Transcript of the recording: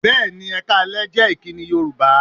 Bẹ́ẹ̀ni, "Ẹ káalẹ́" jẹ́ ìkíni Yorùbá